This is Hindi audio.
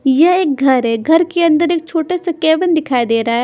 ये एक घर है घर के अंदर एक छोटा सा कैबिन दिखाई दे रहा है।